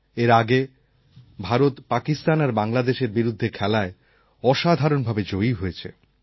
এর আগে ভারত পাকিস্তান আর বাংলাদেশের বিরুদ্ধে খেলায় অসাধারণ ভাবে জয়ী হয়েছে